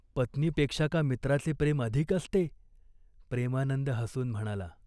"पत्नीपेक्षा का मित्राचे प्रेम अधिक असते ?" प्रेमानंद हसून म्हणाला.